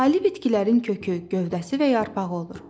Ali bitkilərin kökü, gövdəsi və yarpağı olur.